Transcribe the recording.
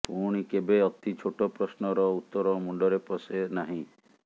ପୁଣି କେବେ ଅତି ଛୋଟ ପ୍ରଶ୍ନର ଉତ୍ତର ମୁଣ୍ଡରେ ପଶେ ନାହିଁ